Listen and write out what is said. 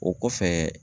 O kɔfɛ